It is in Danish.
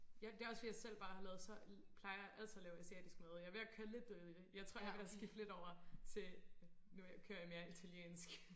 Ja det også fordi jeg selv bare har lavet så plejer altid alt lave asiatisk mad og jeg er ved at køre lidt død i det jeg tror jeg er ved at skifte lidt over til nu kører jeg lidt mere italiensk